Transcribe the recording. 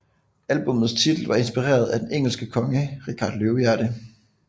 Albummets titel var inspireret af den engelske konge Richard Løvehjerte